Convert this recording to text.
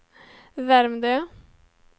Värmdö